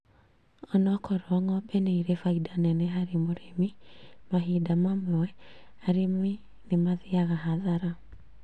Ona okorwo ng'ombe nĩ irĩ faida neneharĩ mũrĩmi mahinda mamwe arĩmi nĩ mathiaga hathara